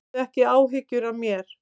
Hafðu ekki áhyggjur af mér.